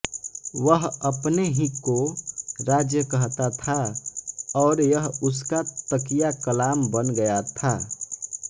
वह अपने ही को राज्य कहता था और यह उसका तकियाकलाम बन गया था